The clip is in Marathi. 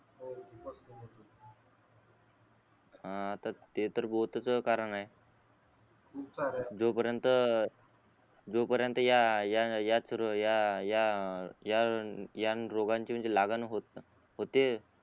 हा आता ते तर च कारण आहे खूप सारे जो पर्यंत जो पर्यंत या या या या या या या यारोगांची म्हणजे लागण होते